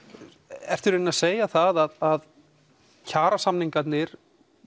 ertu í rauninni að segja það að kjarasamningarnir